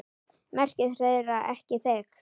Merking þeirra er ekki þekkt.